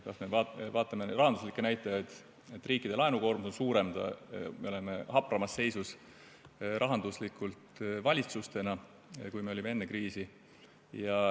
Vaatame kas või rahanduslikke näitajaid, seda, et riikide laenukoormus on suurem, valitsused on rahanduslikult hapramas seisus, kui oldi enne kriisi.